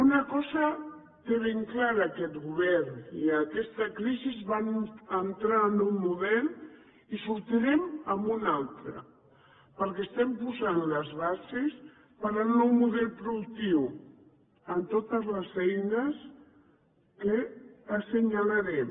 una cosa té ben clara aquest govern i aquesta crisi va entrar amb un model i en sortirem amb un altre perquè estem posant les bases per a un nou model productiu amb totes les eines que assenyalaré